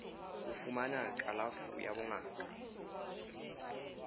ho fumana kalafo ya bongaka